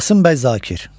Qasım Bəy Zakir.